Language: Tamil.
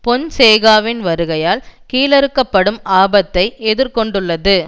பொன்சேகாவின் வருகையால் கீழறுக்கப்படும் ஆபத்தை எதிர் கொண்டுள்ளது